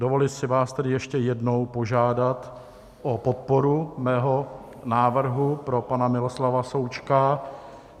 Dovoluji si vás tedy ještě jednou požádat o podporu mého návrhu pro pana Miloslava Součka.